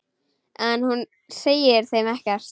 En hún segir þeim ekkert.